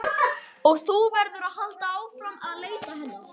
Og þú verður að halda áfram að leita hennar.